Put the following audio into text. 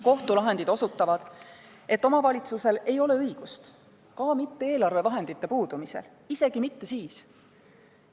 Kohtulahendid osutavad, et kohalikul omavalitsusel ei ole õigust isegi eelarvevahendite puudumise korral – isegi siis mitte!